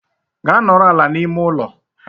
Gaa nọrọ ala n'ime ụlọ!